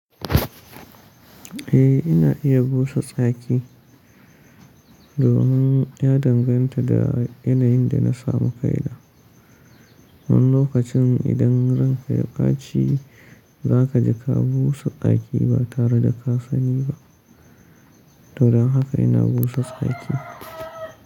Eh ina iya busa tsaki domin ya danganta da yanayin da na samu ƙaida. Wani lokacin idan ranka ya baci za ka ji ka busa tsaki ba tare da ka sani ba. Don haka ina busa tsaki.